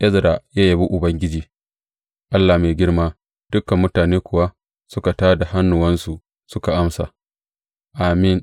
Ezra ya yabi Ubangiji, Allah mai girma; dukan mutane kuwa suka tā da hannuwansu suka amsa, Amin!